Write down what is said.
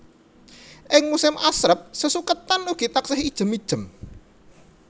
Ing musim asrep sesuketan ugi taksih ijem ijem